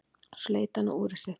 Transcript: Svo leit hann á úrið sitt.